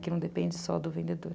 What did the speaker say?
Que não depende só do vendedor.